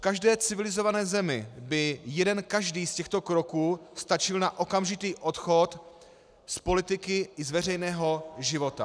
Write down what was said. V každé civilizované zemi by jeden každý z těchto kroků stačil na okamžitý odchod z politiky i z veřejného života.